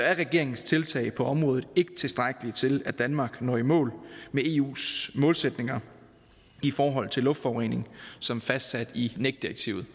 regeringens tiltag på området ikke tilstrækkelige til at danmark når i mål med eus målsætninger i forhold til luftforurening som fastsat i nec direktivet